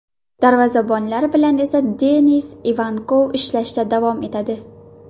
Darvozabonlar bilan esa Denis Ivankov ishlashda davom etadi.